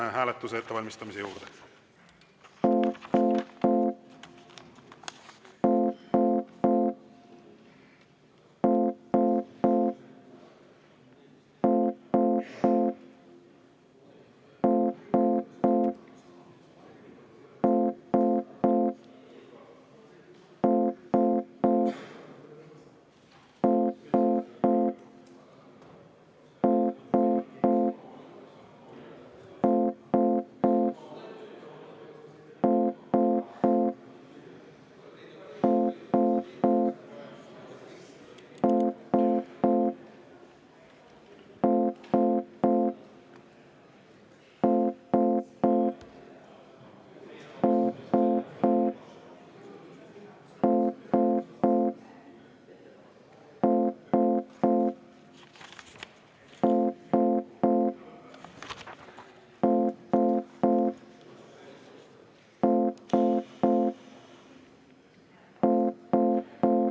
Asume hääletuse ettevalmistamise juurde.